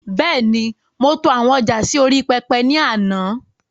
Bẹ́ẹ̀ni, mo to àwọn ọjà sì orí pẹpẹ ni àná